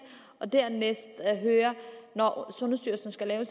og dernæst høre når sundhedsstyrelsen skal lave